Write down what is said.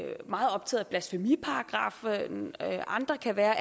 meget optaget af blasfemiparagraffen og andre kan være